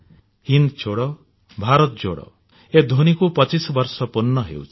ହିନ୍ଦ୍ ଛୋଡୋ ଭାରତ ଜୋଡୋ ଏ ଧ୍ୱନୀକୁ 75 ବର୍ଷ ପୂର୍ଣ୍ଣ ହେଉଛି